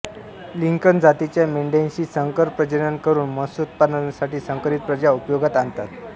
Lincoln जातीच्या मेंढ्यांशी संकर प्रजनन करून मांसोत्पादनासाठी संकरित प्रजा उपयोगात आणतात